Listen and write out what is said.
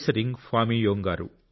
ring ఫామి యొంగ్ గారు